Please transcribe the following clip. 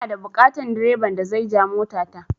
Ina da buƙatan direban da zai ja mota ta